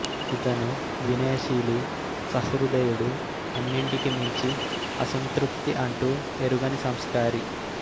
ఇతను వినయశీలి సహృదయుడు అన్నింటికి మించి అసంతృప్తి అంటూ ఎరుగని సంస్కారి